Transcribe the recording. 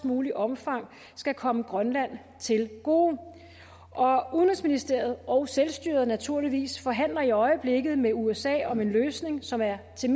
muligt omfang skal komme grønland til gode udenrigsministeriet og selvstyret naturligvis forhandler i øjeblikket med usa om en løsning som er til